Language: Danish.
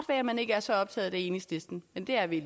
at man ikke er så optaget af det i enhedslisten men det er vi